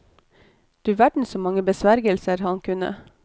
Du verden, så mange besvergelser han kunne.